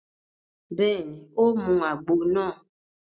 Bẹ́ẹ̀ni, ó mu àgbo náà